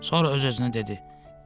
Sonra öz-özünə dedi: